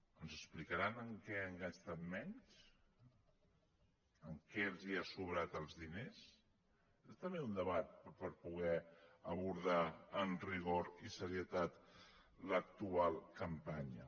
ens explicaran en què han gastat menys en què els ha sobrat els diners és també un debat per poder abor·dar amb rigor i serietat l’actual campanya